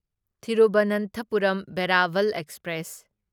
Thiruvananthapuram Veraval express